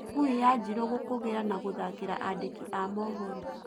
Ngui ya Njirũ gũkũgĩra na gũthakĩra andĩki a mũhoro